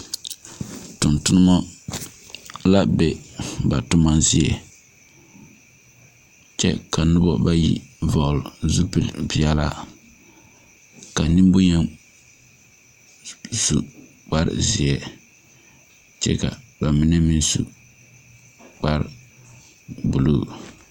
Tungtumo la be ba tuma zeɛ kye ka nuba bayi vɔgle zupili peɛlaa ka ninbunyeni su kpare zie kye ka ba mene meng su kpare blue.